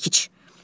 Budur çəkic.